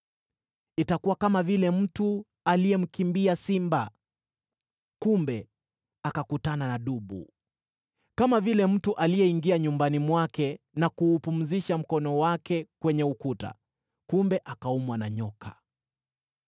Itakuwa kama vile mtu aliyemkimbia simba kumbe akakutana na dubu, kama vile mtu aliyeingia nyumbani mwake na kuupumzisha mkono wake kwenye ukuta, kumbe akaumwa na nyoka.